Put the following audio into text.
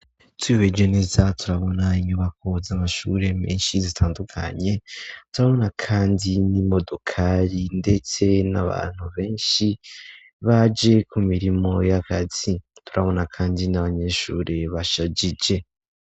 Twihweje neza turabona inyubako zamashure menshi zitandukanye, turabona kandi n'imodokari ndetse n'abantu benshi baje ku mirimo y'akazi, turabona kandi n'abanyeshure bashajije.